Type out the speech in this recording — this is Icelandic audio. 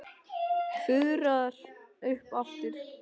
Fuðrar upp aftur.